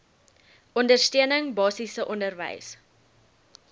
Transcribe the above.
ondersteuning basiese onderwys